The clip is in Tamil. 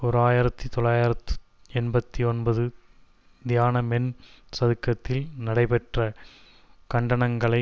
ஓர் ஆயிரத்தி தொள்ளாயிரத்து எண்பத்தி ஒன்பது தியானமென் சதுக்கத்தில் நடைபெற்ற கண்டனங்களை